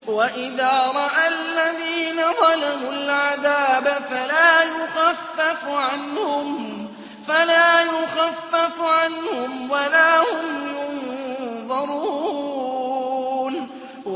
وَإِذَا رَأَى الَّذِينَ ظَلَمُوا الْعَذَابَ فَلَا يُخَفَّفُ عَنْهُمْ وَلَا هُمْ يُنظَرُونَ